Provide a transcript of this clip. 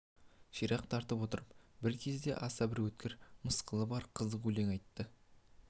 ширақ тартып отырып бір кезде аса бір өткір мысқылы бар қызық өлең айтып шықты